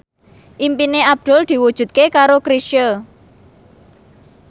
impine Abdul diwujudke karo Chrisye